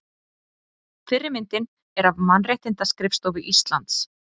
Fyrri myndin er af Mannréttindaskrifstofu Íslands.